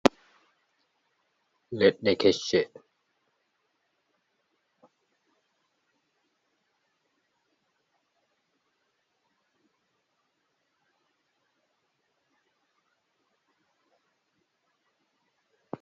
let ne kec shet